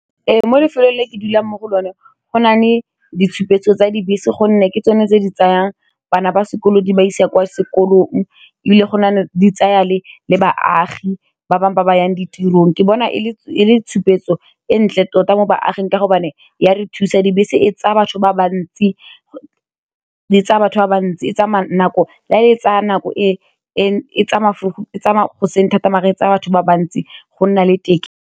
Ee mo lefelong le ke dulang mo go lone go nale ditshupetso tsa dibese gonne ke tsone tse di tsayang bana ba sekolo di ba isa kwa sekolong, e bile go na le di tsaya le le baagi ba bangwe ba ba yang ditirong ke bona e le tshupetso e ntle tota mo baaging ka gobane ya re thusa dibese e tsaya batho ba ba ntsi e tsamaya nako e tsaya vroug e tsamaya goseng thata maar e tsaya batho ba ba ntsi go nna le teke.